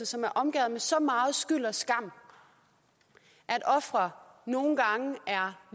som er omgærdet af så meget skyld og skam at ofre nogle gange